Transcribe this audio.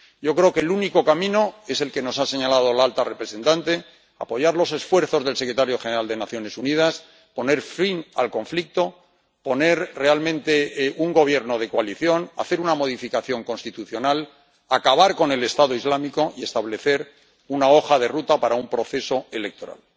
Yo creo que el único camino es el que nos ha señalado la alta representante apoyar los esfuerzos del secretario general de las Naciones Unidas, poner fin al conflicto, poner realmente un gobierno de coalición, hacer una modificación constitucional, acabar con el Estado Islámico y establecer una hoja de ruta para un proceso electoral.